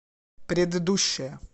предыдущая